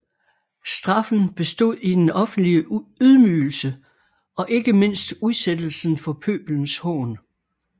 Straffen bestod i den offentlige ydmygelse og ikke mindst udsættelsen for pøbelens hån